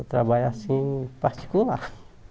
Eu trabalho assim, particular